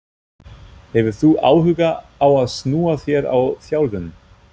Hefur þú áhuga á að snúa þér að þjálfun?